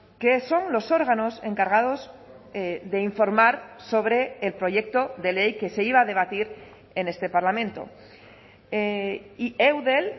que son los órganos encargados de informar sobre el proyecto de ley que se iba a debatir en este parlamento y eudel